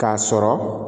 K'a sɔrɔ